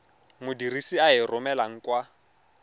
modirisi a e romelang kwa